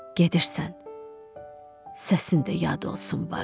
Gedirsən, səsin də yad olsun barı.